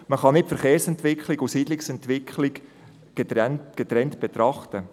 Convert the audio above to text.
Man kann die Verkehrs- und die Siedlungsentwicklung nicht getrennt betrachten.